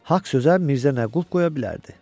Haqq sözə Mirzə nə qulp qoya bilərdi?